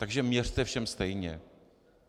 Takže měřte všem stejně.